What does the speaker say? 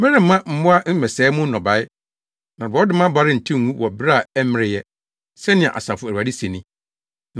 “Meremma mmoa mmɛsɛe mo nnɔbae na borɔdɔma aba rentew ngu wɔ bere a ɛmmeree ɛ,” sɛnea Asafo Awurade se ni.